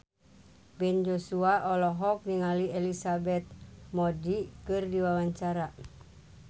Ben Joshua olohok ningali Elizabeth Moody keur diwawancara